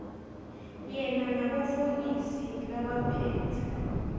yena nabofokisi labaphetse